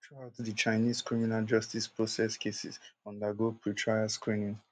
throughout di chinese criminal justice process cases undergo pretrial screening